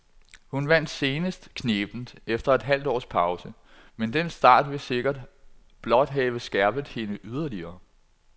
Hun vandt senest knebent efter et halvt års pause, men den start vil sikkert blot have skærpet hende yderligere.